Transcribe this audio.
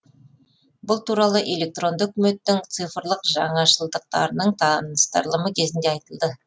бұл туралы электронды үкіметтің цифрлық жаңашылдықтарының таныстырылымы кезінде айтылды